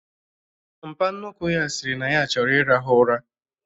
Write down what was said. Mpa nnukwu ya sịrị na ya chọrọ ịrahụ ụra